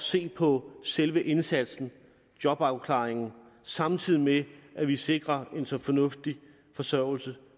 se på selve indsatsen jobafklaringen samtidig med at vi sikrer en så fornuftig forsørgelse